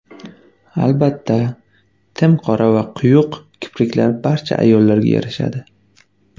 Albatta, tim qora va quyuq kipriklar barcha ayolga yarashadi.